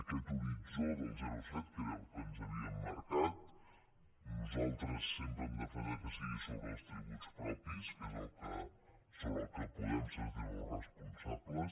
aquest horitzó del zero coma set que era el que ens havíem marcat nosaltres sempre hem defensat que sigui sobre els tributs propis que és sobre el que podem sentir nos responsables